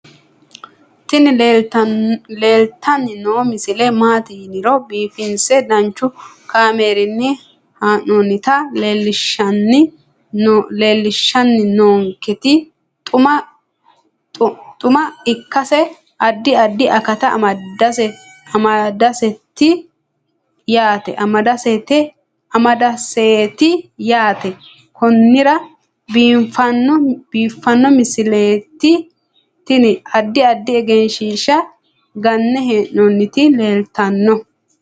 tini leeltanni noo misile maaati yiniro biifinse danchu kaamerinni haa'noonnita leellishshanni nonketi xuma ikkase addi addi akata amadaseeti yaate konnira biiffanno misileeti tini addi addi egenshshiisha ganne hee'nooniti leeltanno